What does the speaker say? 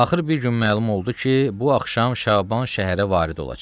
Axır bir gün məlum oldu ki, bu axşam Şaban şəhərə varid olacaq.